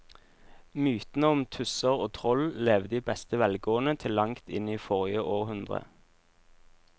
Mytene om tusser og troll levde i beste velgående til langt inn i forrige århundre.